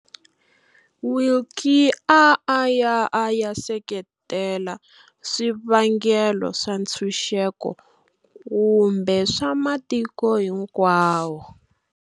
Willkie a a ya a seketela swivangelo swa ntshunxeko kumbe swa matiko hinkwawo.